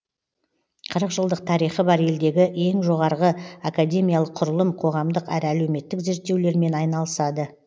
қырық жылдық тарихы бар елдегі ең жоғарғы академиялық құрылым қоғамдық әрі әлеуметтік зерттеулермен айналысады